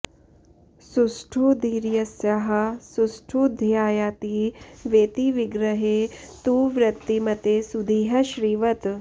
सुष्ठु धीर्यस्याः सुष्ठु ध्यायति वेति विग्रहे तु वृत्तिमते सुधीः श्रीवत्